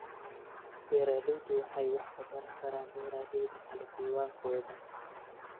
Beeraleydu waxay wax ka baran karaan beeralayda kale diiwaankooda